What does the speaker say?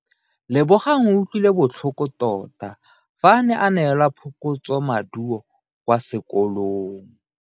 Lebogang o utlwile botlhoko tota fa a neelwa phokotsomaduo kwa sekolong.